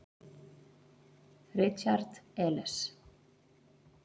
Richard Elis.